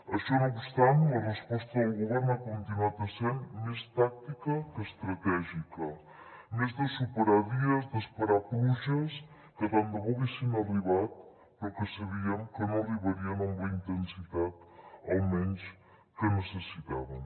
això no obstant la resposta del govern ha continuat essent més tàctica que estratègica més de superar dies d’esperar pluges que tant de bo haguessin arribat però que sabíem que no arribarien amb la intensitat almenys que necessitàvem